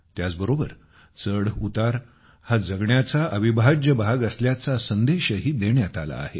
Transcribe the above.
त्याचबरोबर चढउतार हा जगण्याचा अविभाज्य भाग असल्याचा संदेशही देण्यात आला आहे